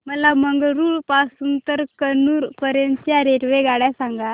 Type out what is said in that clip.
मला मंगळुरू पासून तर कन्नूर पर्यंतच्या रेल्वेगाड्या सांगा